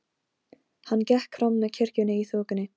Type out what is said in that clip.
Hann gekk fram með kirkjunni í þokunni.